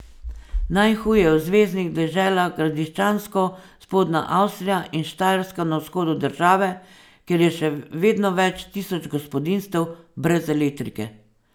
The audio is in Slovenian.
Najhuje je v zveznih deželah Gradiščansko, Spodnja Avstrija in Štajerska na vzhodu države, kjer je še vedno več tisoč gospodinjstev brez elektrike.